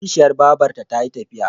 Kishiyar babarta ta yi tafiya.